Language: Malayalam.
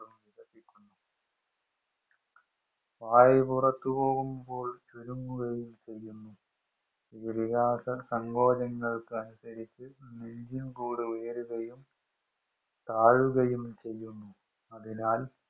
വായു പുറത്തു പോകുമ്പോള്‍ ചുരുങ്ങുകയും ചെയുന്നു ഉയരുകയും താഴുകയും ചെയുന്നു അതിനാൽ